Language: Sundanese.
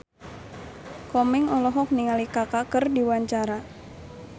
Komeng olohok ningali Kaka keur diwawancara